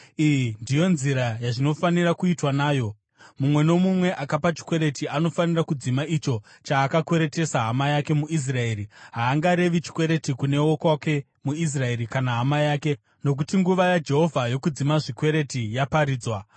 Iyi ndiyo nzira yazvinofanira kuitwa nayo: Mumwe nomumwe akapa chikwereti anofanira kudzima icho chaakakweretesa hama yake muIsraeri. Haangarevi chikwereti kune wokwake muIsraeri, kana hama yake, nokuti nguva yaJehovha yokudzima zvikwereti yaparidzwa.